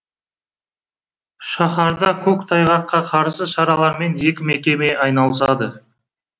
шаһарда көктайғаққа қарсы шаралармен екі мекеме айналысады